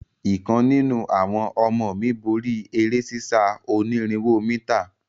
Ìkan nínú àwọn ọmọ mí borí eré sísá onírinwó mítà.